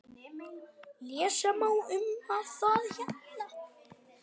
Lesa má um það hérna.